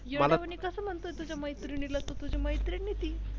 येडया वाणी कसं म्हणतो तू तुझ्या मैत्रिणीला तुझी मैत्रीण आहे ती.